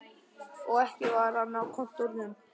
Og ekki var hann á kontórnum.